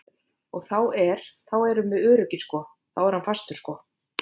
Og þá er, þá erum við öruggir sko, þá er hann fastur sko.